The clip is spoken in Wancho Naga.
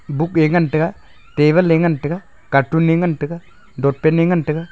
book a ngan tega table a ngan tega cartoon a ngan tega totpen a ngan tega.